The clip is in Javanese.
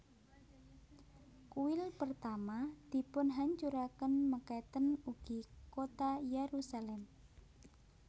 Kuil Pertama dipunhancuraken mekaten ugi kota Yerusalem